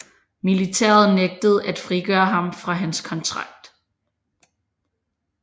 Militæret nægtede at frigøre ham fra hans kontrakt